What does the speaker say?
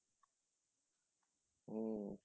উম